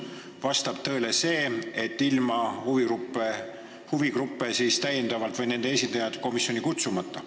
See vastab tõele, et huvigrupid või nende esindajad jäid komisjoni kutsumata.